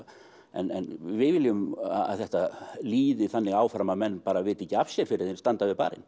en við viljum að þetta liði þannig áfram að menn bara viti ekki af sér fyrr en þeir standa við barinn